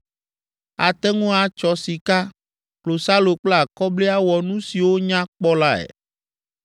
Ate ŋu atsɔ sika, klosalo kple akɔbli awɔ nu siwo nya kpɔ lae.